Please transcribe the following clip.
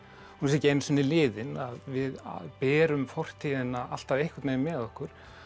hún sé ekki einu sinni liðin við berum fortíðina alltaf einhvern veginn með okkur